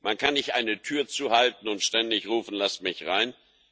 Man kann nicht eine Tür zuhalten und ständig rufen Lasst mich rein!